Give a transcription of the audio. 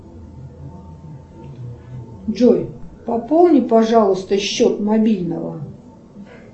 джой пополни пожалуйста счет мобильного